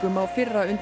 á fyrra